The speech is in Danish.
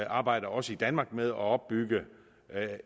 arbejder også i danmark med at opbygge